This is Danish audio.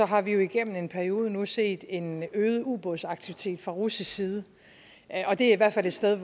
har vi jo igennem en periode nu set en øget ubådsaktivitet fra russisk side og det er i hvert fald et sted